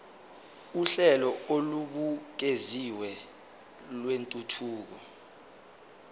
uhlelo olubukeziwe lwentuthuko